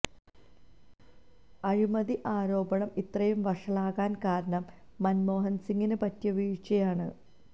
അഴിമതി ആരോപണം ഇത്രയും വഷളാകാന് കാരണം മന്മോഹന് സിംഗിന് പറ്റിയ വീഴ്ചയാണ്